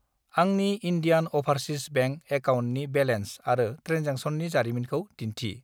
आंनि Indian overseas bank एकाउन्टनि balance आरो ट्रेनजेक्सननि जारिमिनखौ दिन्थि।